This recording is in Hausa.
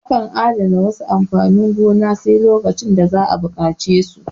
Akan adana wasu amfanin gonan sai zuwa lokacin da za'a buƙace su